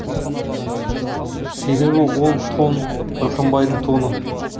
себебі ол тон мырқымбайдың тоны